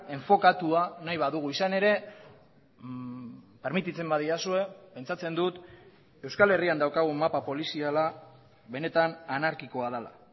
enfokatua nahi badugu izan ere permititzen badidazue pentsatzen dut euskal herrian daukagun mapa poliziala benetan anarkikoa dela